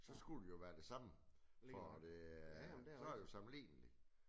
Så skulle det jo være det samme for det er så det jo sammenligneligt